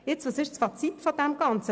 Was ist jetzt das Fazit des Ganzen?